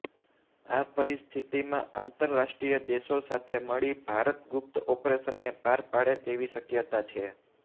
આ પરિસ્થિતિમાં આંતરરાષ્ટ્રીય દેશો સાથે મળીને ભારત ગુપ્ત ઓપરેશનને પાર પાડે તેવી શક્યતા છે